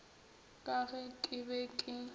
ka ge ke be ke